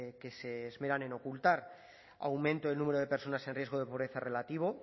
que se esmeran en ocultar aumento del número de personas en riesgo de pobreza relativo